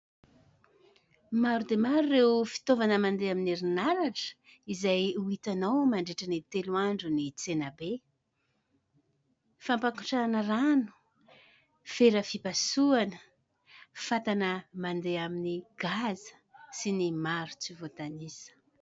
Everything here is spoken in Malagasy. Maro dia maro ireo fitaovana mandeha amin'ny herinaratra izay ho hitanao mandritra ny telo andron'ny tsenabe. Fampangotrahana rano, fera fipasohana, fatana mandeha amin'ny gazy sy ny maro tsy voatanisa.